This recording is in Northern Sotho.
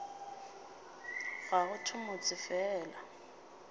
ga go thewe motse fela